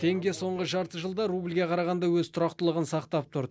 теңге соңғы жарты жылда рубльге қарағанда өз тұрақтылығын сақтап тұр